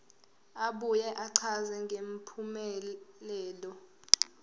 abuye achaze ngempumelelo